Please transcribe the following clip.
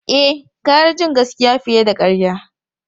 E, gara jin gaskiya fiye da karya.